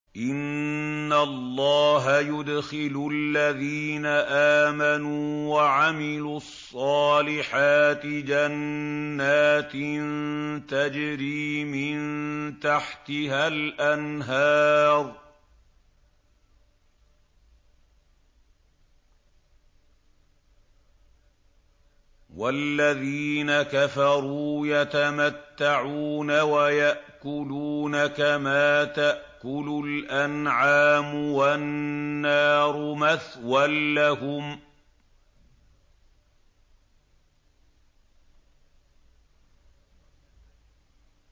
إِنَّ اللَّهَ يُدْخِلُ الَّذِينَ آمَنُوا وَعَمِلُوا الصَّالِحَاتِ جَنَّاتٍ تَجْرِي مِن تَحْتِهَا الْأَنْهَارُ ۖ وَالَّذِينَ كَفَرُوا يَتَمَتَّعُونَ وَيَأْكُلُونَ كَمَا تَأْكُلُ الْأَنْعَامُ وَالنَّارُ مَثْوًى لَّهُمْ